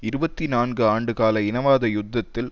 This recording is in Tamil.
இருபத்தி நான்கு ஆண்டுகால இனவாத யுத்தத்தில்